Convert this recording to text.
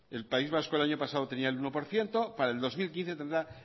el país vasco el año pasado tenía el uno por ciento para el dos mil quince tendrá